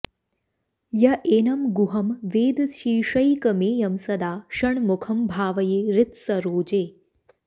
य एनं गुहं वेदशीर्षैकमेयं सदा षण्मुखं भावये हृत्सरोजे